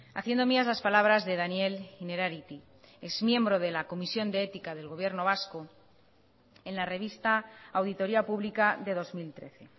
haciendo mías las palabras de daniel innerarity es miembro de la comisión de ética del gobierno vasco en la revista auditoría pública de dos mil trece